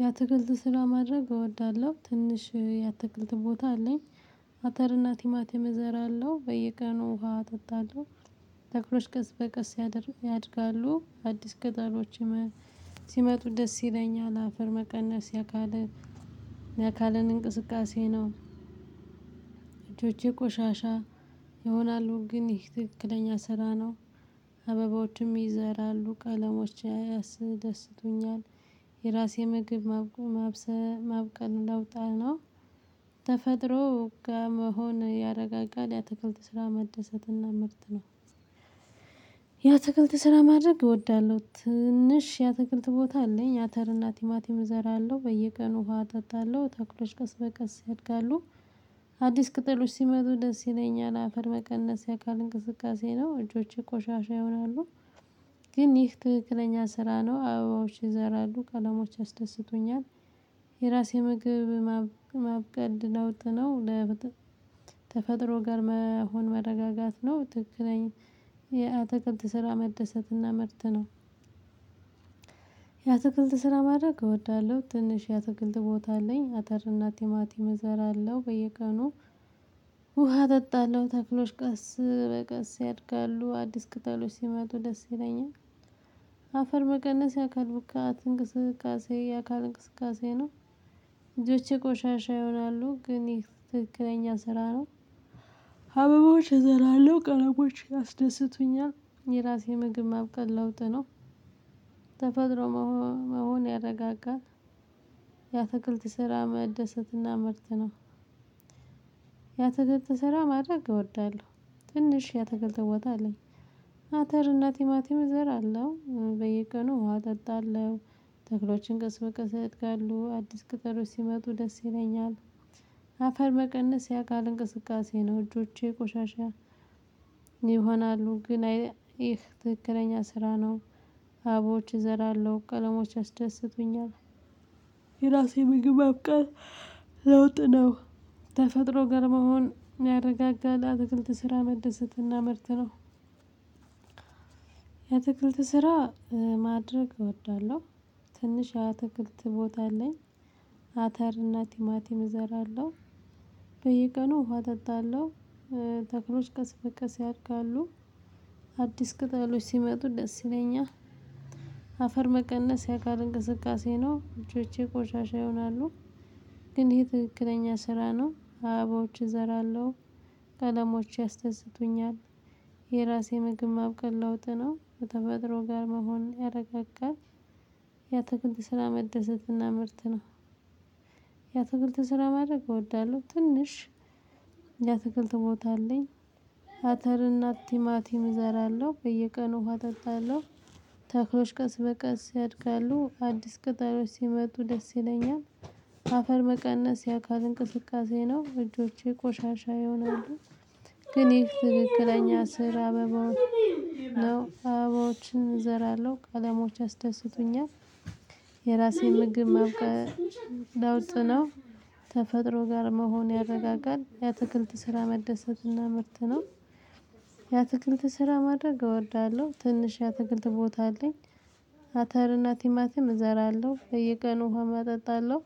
የአትክልት ስራ ማድረግ እወዳለሁ ትንሽ የአትክልት ቦታ አለኝ። አተርና ቲማትም እዘራለሁ በየቀኑ ውሃ እጠጣለሁ ተክሎች ቀስ በቀስ ያድር ያድጋሉ አዲስ ቀጠሎች ይመ ሲመጡ ደስ ይለኛል። አፈር መቀነስ የአካል የአካልን እንቅስቃሴ ነው። እጆቼ ቆሻሻ ይሆናሉ ግን ይህ ትክክለኛ ስራ ነው። አበባዎችም ይዘራሉ ቀለሞች ያስ ያስደስቱኛል። የራሴ ምግብ ማብ ማብሰ ማብቀል ለውጥ አለው። ተፈጥሮ ጋ መሆን ያረጋጋል የአትክልት ስራ መደሰት እና ምርት ነው። የአትክልት ስራ ማድረግ እወዳለሁ። ትንሽ የአተክልት ቦታ አለኝ አተር እና ቲማቲም እዘራለሁ በየቀኑ ውሃ እጠጣለሁ ተክሎች ቀስ በቀስ ያድጋሉ። አዲስ ቅጠሎች ሲመጡ ደስ ይለኛል አፈር መቀነስ የአካል እንቅስቃሴ ነው እጆቼ ቆሻሻ ይሆናሉ። ግን ይህ ትክክለኛ ስራ ነው አበባዎች ይዘራሉ ቀለሞች ያስደስቱኛል። የራሴ ምግብ ማብ ማብቀል ለዉጥ ነው። ለብጥ ተፈጥሮ ጋር መሆን መረጋጋት ነው። ትክክለኛ የአትክልት ስራ መደሰት እና ምርት ነው። የአትክልት ስራ ማድረግ እወዳለሁ ትንሽ የአትክልት ቦታ አለኝ። አተር እና ቲማቲም እዘራለሁ በየቀኑ ውሃ አጠጣለሁ ተክሎች ቀስ በቀስ ያድጋሉ አዲስ ቅጠሎች ሲመጡ ደስ ይለኛል። አፈር መቀነስ የአካል ብቃት እንቅስቃሴ የአካል እንቅስቃሴ ነው። እጆቼ ቆሻሻ ይሆናሉ ግን ይህ ትክክለኛ ስራ ነው አበቦች እዘራለሁ ቀለሞች ያስደስቱኛል። የራሴ ምግብ ማብቀል ለውጥ ነው። ተፈጥሮ መሆመሆን ያረጋጋል። የአትክልት ስራ መደሰት እና ምርት ነው። የአትክልት ስራ ማድረግ እወዳለሁ ትንሽ የአትክልት ቦታ አለኝ። አተር እና ቲማቲም እዘራለሁ በየቀኑ ውሃ እጠጣለሁ። ተክሎችን ቀስ በቀስ ያድጋለሁ አዲስ ቅጠሎች ሲመጡ ደስ ይለኛል። አፈር መቀነስ የአካል እንቅስቃሴ ነው እጆቼ ቆሻሻ። ይሆናሉ ግን አይ ይህ ትክክለኛ ስራ ነው። አበቦች እዘራለሁ ቀለሞች ያስደስቱኛል። የራሴ ምግብ ማብቀል ለውጥ ነው። ተፈጥሮ ጋር መሆን ያረጋጋል አትክልት ስራ መደሰትና ምርት ነው። የአትክልት ስራ ማድረግ እወዳለሁ ትንሽ አትክልት ቦታ አለኝ። አተር እና ቲማቲም እዘራለሁ በየቀኑ ውሃ እጠጣለሁ። ተክሎች ቀስ በቀስ ያድጋሉ። አዲስ ቅጠሎች ሲመጡ ደስ ይለኛል። አፈር መቀነስ የአካል እንቅስቃሴ ነው እጆቼ ቆሻሻ ይሆናሉ። ግን ይሄ ትክክለኛ ስራ ነው አበቦች እዘራለሁ ቀለሞች ያስደስቱኛል። የራሴ ምግብ ማብቀል ለውጥ ነው ከተፈጥሮ ጋር መሆን ያረጋጋል። የአትክልት ስራ መደሰት እና ምርት ነው። የአትክልት ስራ ማድረግ እወዳለሁ ትንሽ የአትክልት ቦታ አለኝ። አተር እናት ቲማቲም እዘራለሁ በየቀኑ ውሃ እጠጣለሁ። ተክሎች ቀስ በቀስ ያድጋሉ አዲስ ቅጠሎች ሲመጡ ደስ ይለኛል። አፈር መቀነስ የአካል እንቅስቃሴ ነው እጆቼ ቆሻሻ ይሆናሉ። ግን ይህ ትክክለኛ ስራ አበቦ ነው። አበባዎችን እዘራለሁ ቀለሞች ያስደስቱኛል። የራሴን ምግብ ማብቀል ለውጥ ነው። ተፈጥሮ ጋር መሆን ያረጋጋል የአትክልት ስራ መደሰት እና ምርት ነው። የአትክልት ስራ ማድረግ እወዳለሁ ትንሽ የአትክልት ቦታ አለኝ። አተር እና ቲማቲም እዘራለሁ በየቀኑ ውሃ አጠጣለሁ።